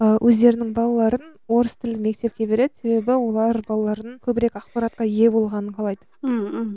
ыыы өздерінің балаларын орыс тілді мектепке береді себебі олар балалардың көбірек ақпаратқа ие болғанын қалайды мхм